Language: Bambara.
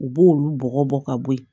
U b'olu bɔgɔ bɔ ka bo yen